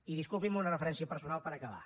i disculpi’m una referència personal per acabar